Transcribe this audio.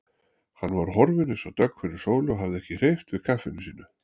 Hann var horfinn eins og dögg fyrir sólu og hafði ekki hreyft við kaffinu sínu.